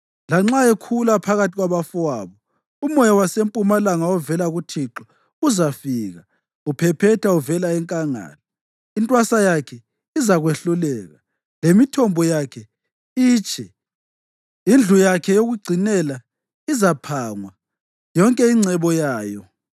lanxa ekhula phakathi kwabafowabo. Umoya wasempumalanga ovela kuThixo uzafika, uphephetha uvela enkangala; intwasa yakhe izakwehluleka, lemithombo yakhe itshe. Indlu yakhe yokugcinela izaphangwa yonke ingcebo yayo.